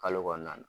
Kalo kɔnɔna na